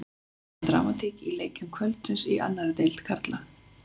Það var dramatík í leikjum kvöldsins í annarri deild karla.